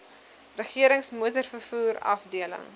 regerings motorvervoer afdeling